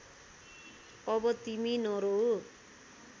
अब तिमी नरोऊ